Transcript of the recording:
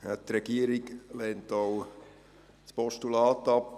Die Regierung lehnt auch das Postulat ab.